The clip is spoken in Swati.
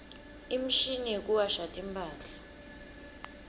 imshini yekuwasha timphahla